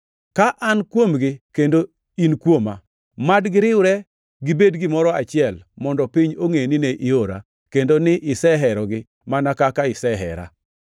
ka an kuomgi kendo in kuoma. Mad giriwre gibed gimoro achiel mondo piny ongʼe ni ne iora, kendo ni iseherogi mana kaka isehera.